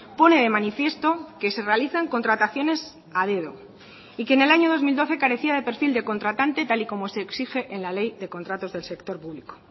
pone de manifiesto que se realizan contrataciones a dedo y que en el año dos mil doce carecía de perfil de contratante tal y como se exige en la ley de contratos del sector público